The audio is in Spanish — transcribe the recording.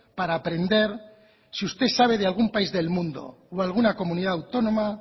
para aprender si usted sabe de algún país del mundo o alguna comunidad autónoma